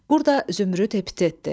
Burda zümrüd epitetdir.